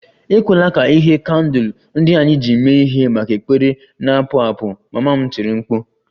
Ekwela ka ìhè nke kandụl ndị anyị ji mee ihe maka ekpere na-apụ apụ! Mama m tiri mkpu